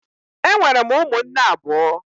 Enwere m ụmụnne abụọ